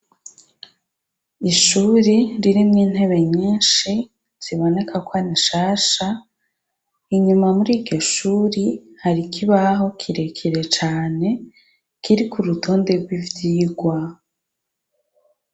ishuri ririmwo intebe nyinshi ziboneka kwari nshasha inyuma muri iryoshuri hari ikibaho kirekire cane kirik’urutonde gw'ivyigwa